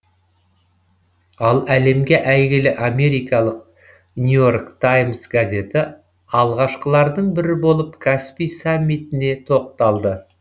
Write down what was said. ал әлемге әйгілі америкалық нью и орк таймс газеті алғашқылардың бірі болып каспий саммитіне тоқталды